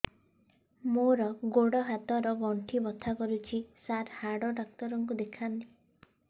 ମୋର ଗୋଡ ହାତ ର ଗଣ୍ଠି ବଥା କରୁଛି ସାର ହାଡ଼ ଡାକ୍ତର ଙ୍କୁ ଦେଖାଇ ଥାନ୍ତି